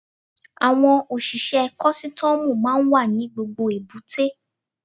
Àwọn òṣìṣẹ́ kọ́sítọ́mù máa ń wà ní gbogbo èbúté.